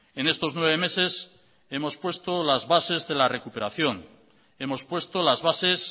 en estos nueve meses hemos puesto las bases de la recuperación hemos puesto las bases